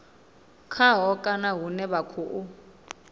khaho kana hune vha khou